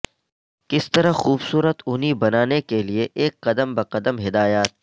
کس طرح خوبصورت اونی بنانے کے لئے ایک قدم بہ قدم ہدایات